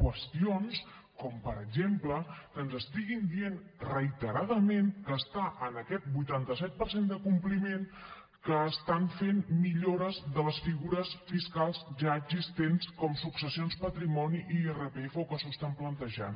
qüestions com per exemple que ens estiguin dient reiteradament que està en aquest vuitanta set per cent de compliment que estan fent millores de les figures fiscals ja existents com successions patrimoni irpf o que s’ho estan plantejant